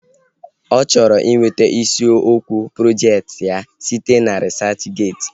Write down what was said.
Ọ chọrọ iweta isiokwu projekti ya site na risachgeeti